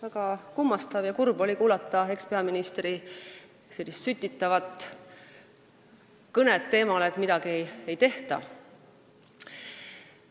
Väga kummastav ja kurb oli kuulata ekspeaministri sütitavat kõnet teemal, et midagi ei tehta.